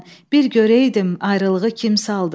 bir görəydim ayrılığı kim saldı.